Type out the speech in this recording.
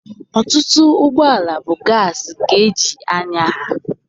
Ọtụtụ ụgbọala bụ gaasị ka eji anya ha.